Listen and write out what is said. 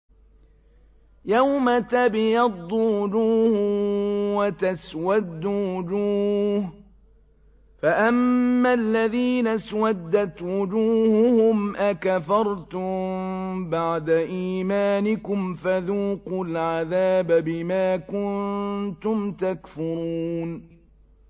يَوْمَ تَبْيَضُّ وُجُوهٌ وَتَسْوَدُّ وُجُوهٌ ۚ فَأَمَّا الَّذِينَ اسْوَدَّتْ وُجُوهُهُمْ أَكَفَرْتُم بَعْدَ إِيمَانِكُمْ فَذُوقُوا الْعَذَابَ بِمَا كُنتُمْ تَكْفُرُونَ